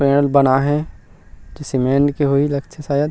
पेड़ बना हे जो सीमेंट के होई लगथे शायद --